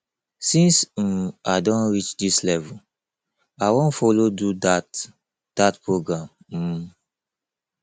since um i don reach dis level i wan follow do dat dat program um